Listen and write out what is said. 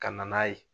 Ka na n'a ye